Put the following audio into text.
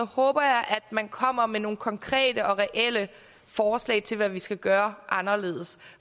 håber jeg at man kommer med nogle konkrete og reelle forslag til hvad vi skal gøre anderledes